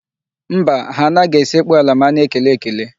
Mba, ha anaghị esekpu ala ma a na-ekele ekele.